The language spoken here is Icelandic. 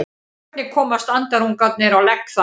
Hvernig komast andarungarnir á legg þar?